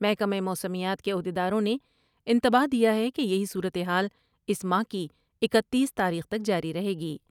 محکمہ موسمیات کے عہد یداروں نے انتباہ دیا ہے کہ یہی صورت حال اس ماہ کی اکتیس تاریخ تک جاری رہے گی ۔